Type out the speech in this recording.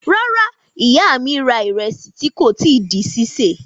Rárá, ìyá mi ra ìrẹsì tí kò tí di sísè.